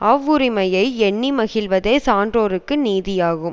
அவ்வுரிமையை எண்ணி மகிழ்வதே சான்றோர்க்கு நீதியாகும்